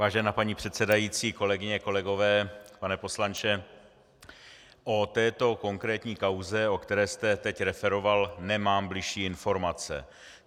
Vážená paní předsedající, kolegyně, kolegové, pane poslanče, o této konkrétní kauze, o které jste teď referoval, nemám bližší informace.